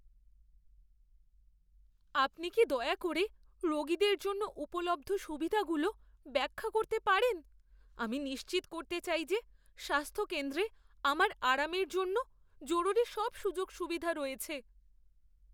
আপনি কি দয়া করে রোগীদের জন্য উপলব্ধ সুবিধাগুলো ব্যাখ্যা করতে পারেন? আমি নিশ্চিত করতে চাই যে স্বাস্থ্য কেন্দ্রে আমার আরামের জন্য জরুরি সব সুযোগ সুবিধা রয়েছে।